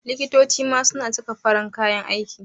Liktoci ma su na saka farin kayan aiki